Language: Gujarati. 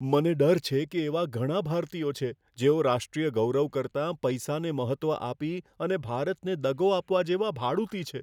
મને ડર છે કે એવા ઘણા ભારતીયો છે, જેઓ રાષ્ટ્રીય ગૌરવ કરતાં પૈસાને મહત્ત્વ આપી અને ભારતને દગો આપવા જેવા ભાડૂતી છે.